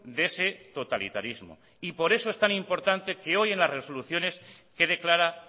de ese totalitarismo y por eso es tan importante que hoy en las resoluciones quede clara